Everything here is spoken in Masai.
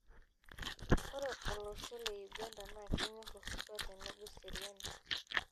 Ore olosho le Uganda naa kenyorr osotua nenebo eseriani.